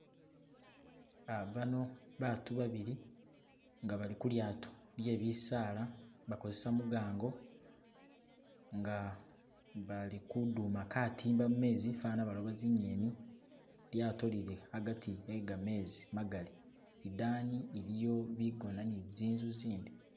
Uh baano baatu babili nga bali khulyato lyebisaala bakosesa mugango nga bali kuduma katimba mumezi fana balooba zingeni , ilyato lili agaati e gamezi magaali , idaani iliyo bigoona ne zinzu zindi.